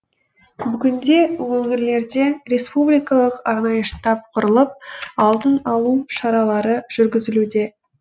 бүгінде өңірлерде республикалық арнайы штаб құрылып алдын алу шаралары жүргізілуде